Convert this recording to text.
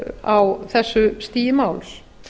á þessu stigi máls